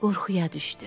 Qorxuya düşdü.